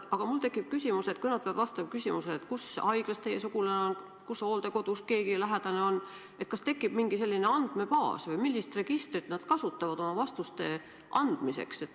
Aga kui nad peavad vastama küsimusele, kus haiglas teie sugulane on, kus hooldekodus keegi lähedane on, siis kas selleks tekib mingi selline andmebaas või millist registrit nad kasutavad oma vastuste andmiseks?